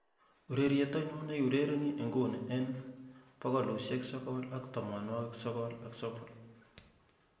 ureryet ainon neiurereni inguni en bogolusiek sogol ak tomonwogik sogol ak sogol f.m.